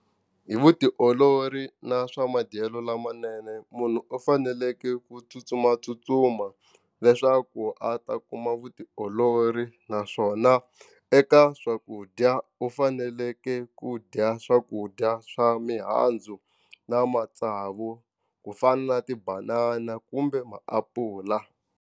Hi vutiolori na swa madyelo lamanene munhu u faneleke ku tsutsumatsutsuma leswaku a ta kuma vutiolori naswona eka swakudya u fanekele ku dya swakudya swa mihandzu na matsavu ku fana na tibanana kumbe maapula.